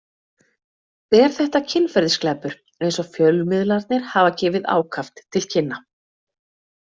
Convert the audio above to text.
Er þetta kynferðisglæpur eins og fjölmiðlarnir hafa gefið ákaft til kynna?